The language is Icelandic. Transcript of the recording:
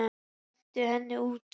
Hentu henni út!